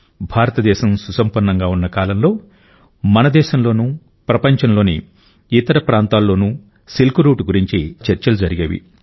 భారతదేశం సుసంపన్నంగా ఉన్న కాలంలో మన దేశంలోనూ ప్రపంచంలోని ఇతర ప్రాంతాల్లోనూ సిల్క్ రూట్ గురించి చాలా చర్చలు జరిగేవి